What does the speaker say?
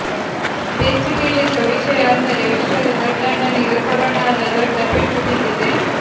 ಬೆಚ್ಚಿಬೀಳಿಸುವ ವಿಷಯ ಅಂದರೆ ವಿಶ್ವದ ದೊಡ್ಡಣ್ಣನಿಗೆ ಕೊರೊನಾದ ದೊಡ್ಡ ಪೆಟ್ಟು ಬಿದ್ದಿದೆ